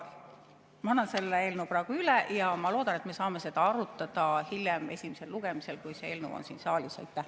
Ma annan selle eelnõu praegu üle ja ma loodan, et me saame seda arutada hiljem, esimesel lugemisel, kui see eelnõu on siin saalis.